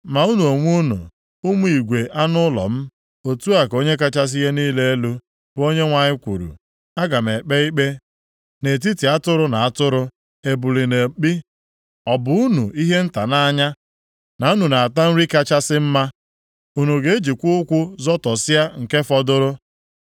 “ ‘Ma unu onwe unu, ụmụ igwe anụ ụlọ m, otu a ka Onye kachasị ihe niile elu, bụ Onyenwe anyị kwuru, aga m ekpe ikpe nʼetiti atụrụ na atụrụ, ebule na mkpi.